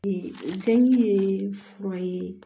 Sɛnji ye fura ye